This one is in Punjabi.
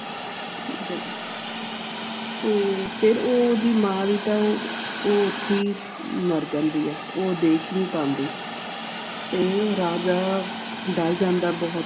ਫੇਰ ਫੇਰ ਓ ਦੀ ਮਾਂ ਵੀ ਤਾ ਅਹ ਉਥੇ ਮਰ ਜਾਂਦੀ ਹੈ ਉਹ ਦੇਖ ਹੀ ਨਹੀਂ ਪਾਂਦੀ ਤੇ ਓ ਰਾਜਾ ਡਰ ਜਾਂਦਾ